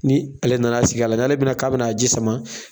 Ni ale nan'a sigi k'a lajɛ, n'ale bɛna k'a bɛna a ji sama.